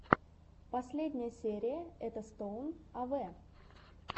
последняя серия этостоун авэ